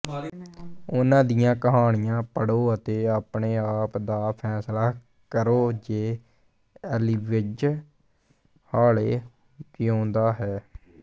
ਉਨ੍ਹਾਂ ਦੀਆਂ ਕਹਾਣੀਆਂ ਪੜ੍ਹੋ ਅਤੇ ਆਪਣੇ ਆਪ ਦਾ ਫੈਸਲਾ ਕਰੋ ਜੇ ਏਲੀਵਜ਼ ਹਾਲੇ ਜਿਊਂਦਾ ਹੈ